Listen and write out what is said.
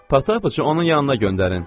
Pata bu qızı onun yanına göndərin.